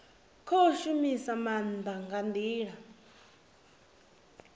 khou shumisa maanda nga ndila